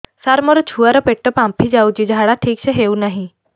ସାର ମୋ ଛୁଆ ର ପେଟ ଫାମ୍ପି ଯାଉଛି ଝାଡା ଠିକ ସେ ହେଉନାହିଁ